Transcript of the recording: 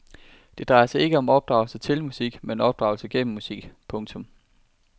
Det drejer sig ikke om opdragelse til musik men opdragelse gennem musik. punktum